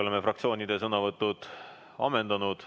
Oleme fraktsioonide sõnavõtud ammendanud.